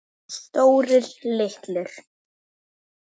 Stórir, litlir.